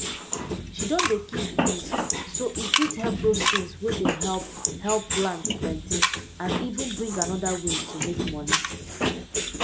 she don dey keep bees so e fit help dose tins wey dey hepl hepl plant plenty and even bring anoda way to make money